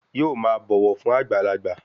Yóò máa bọ̀wọ̀ fún àgbàlagbà